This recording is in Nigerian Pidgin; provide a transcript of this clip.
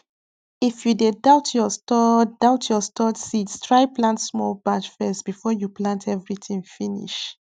if you dey doubt your stored doubt your stored seeds try plant small batch first before you plant everything finish